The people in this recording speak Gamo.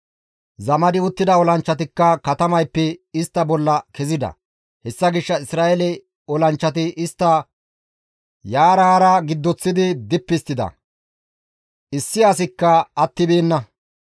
Zamadi uttida olanchchatikka katamayppe istta bolla kezida. Hessa gishshas Isra7eele olanchchati istta yaara haara giddoththidi dippi histtida; issi asikka attibeenna.